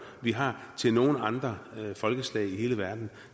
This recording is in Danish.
vi har til nogen andre folkeslag i hele verden